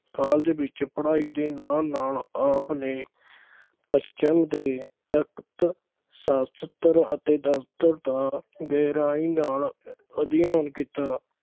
college ਵਿੱਚ ਪੜ੍ਹਾਈ ਦੇ ਨਾਲ-ਨਾਲ ਆਪਨੇ ਪੱਛਮ ਦੇ ਤਰਕਸ਼ਾਸ਼ਤਰ ਅਤੇ ਦਰਸ਼ਨ ਦਾ ਗਹਿਰਾਈ ਨਾਲ ਅਧਿਐਨ ਕੀਤਾ।